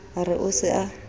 a re o se a